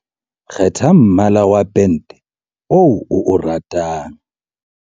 kgetha mmala wa pente oo o o ratang